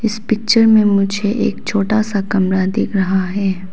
इस पिक्चर में मुझे एक छोटा सा कमरा दिख रहा है।